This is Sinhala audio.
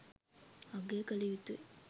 අගය කළයුතුයි.